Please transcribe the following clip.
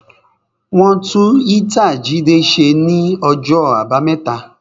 Wọn tún ítàa Jídé ṣe ní ọjọ́ àbámẹ́ta